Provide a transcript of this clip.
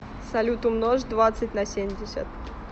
салют умножь двадцать на семьдесят